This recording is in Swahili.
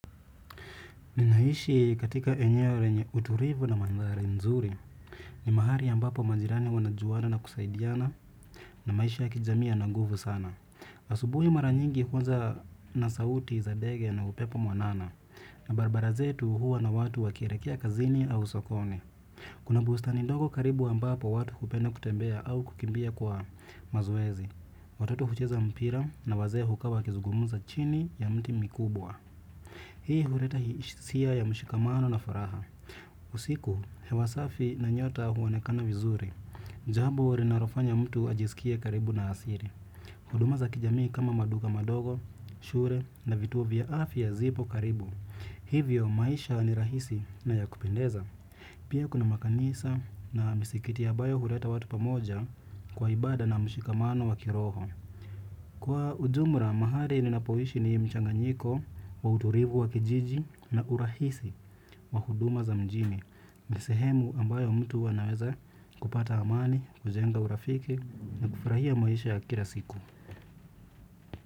Ninaishi katika eneo lenye utulivu na manthari nzuri. Ni mahali ambapo majirani wanajuana na kusaidiana na maisha ya kijamii yana nguvu sana. Asubuhi mara nyingi huanza na sauti za ndege na upepo mwanana. Na barabara zetu huwa na watu wakielekea kazini au sokoni. Kuna bustani ndogo karibu ambapo watu hupenda kutembea au kukimbia kwa mazoezi. Watoto hucheza mpira na wazee hukaa wakizugumuza chini ya mti mikubwa. Hii huleta hisia ya mshikamano na furaha usiku hewa safi na nyota huonekana vizuri. Jambo linalofanya mtu ajisikie karibu na asili. Huduma za kijamii kama maduka madogo, shule na vituo vya afya zipo karibu. Hivyo maisha ni rahisi na ya kupendeza. Pia kuna makanisa na misikiti ambayo huleta watu pamoja kwa ibada na mshikamano wa kiroho kwa ujumla, mahali ninapoishi ni mchanganyiko wa utulivu wa kijiji na urahisi wa huduma za mjini. Ni sehemu ambayo mtu huwa anaweza kupata amani, kujenga urafiki na kufurahia maisha ya kila siku.